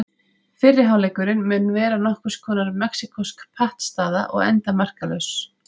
Fyrri hálfleikurinn mun vera nokkurs konar mexíkósk pattstaða og enda markalaus.